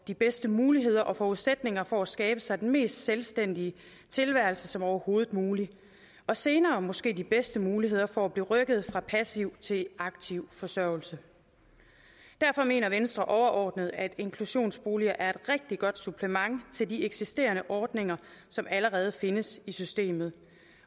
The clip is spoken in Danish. de bedste muligheder og forudsætninger for at skabe sig den mest selvstændige tilværelse som overhovedet muligt og senere måske de bedste muligheder for at blive rykket fra passiv til aktiv forsørgelse derfor mener venstre overordnet at inklusionsboliger er et rigtig godt supplement til de eksisterende ordninger som allerede findes i systemet